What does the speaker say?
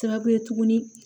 Sababu ye tuguni